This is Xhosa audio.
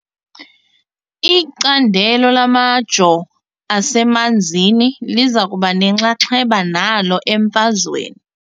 Icandelo lamajoo asemanzini liza kuba nenxaxheba nalo emfazweni .